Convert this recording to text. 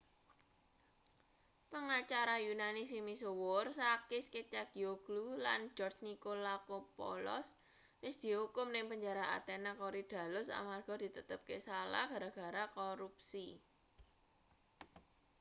pangacara yunani sing misuwur sakis kechagioglou lan george nikolakopoulos wis diukum ning penjara athena korydallus amarga ditetepke salah gara-gara korupsi